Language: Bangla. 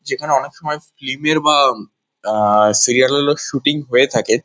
যেখানে অনেক সময় ফিল্ম -এর বা আ সিরিয়াল -এরও শুটিং হয়ে থাকে।